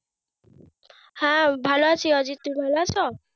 হ্যাঁ ভালো আছি। অজিদ তুই ভালো আছো?